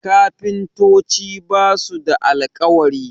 kafintoci ba su da alkawari